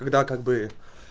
когда как бы